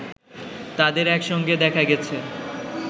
তাদের একসঙ্গে দেখা গেছে